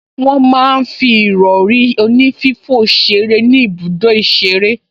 Wọ́n máa ń fi ìrọrí onífífò ṣeré ní ibùdó ìṣeré